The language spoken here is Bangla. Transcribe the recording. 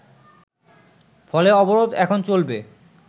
ফলে অবরোধ এখন চলবে